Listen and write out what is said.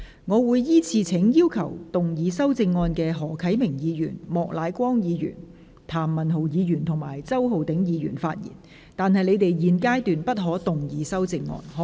我會依次請要動議修正案的何啟明議員、莫乃光議員、譚文豪議員及周浩鼎議員發言，但他們在現階段不可動議修正案。